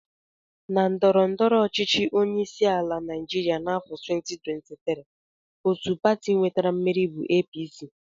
Na ndọrọndọrọ ọchịchị onyeisiala Naijiria n'afọ 2023, otu pati nwetara mmeri bụ APC